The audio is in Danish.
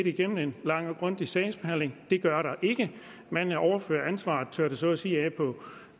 igennem en lang og grundig sagsbehandling det gør der ikke man overfører ansvaret tørrer det så at sige af på